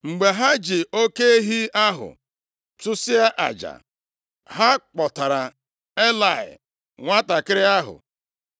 Mgbe ha ji oke ehi ahụ chụsịa aja, ha kpọtaara Elayị nwantakịrị ahụ.